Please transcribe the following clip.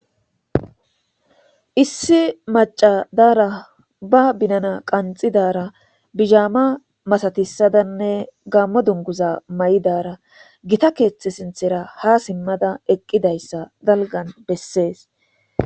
issi maca daara ba binana qanxidara bizhaama masatisadanne gammo dunguza ma7idara gita keeththe sinthera ha simmada eqqidayssa dalgan bessees